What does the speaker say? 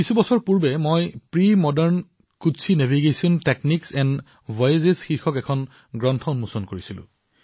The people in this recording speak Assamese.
কিছু বছৰ পূৰ্বে মই প্ৰেমোডাৰ্ন কোটচি কচ্ছীNavigation টেকনিক্স এণ্ড ভয়েজেছ শীৰ্ষক এক গ্ৰন্থ উন্মোচন কৰিছিলো